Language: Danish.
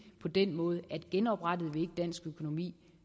på den måde at genoprettede vi ikke dansk økonomi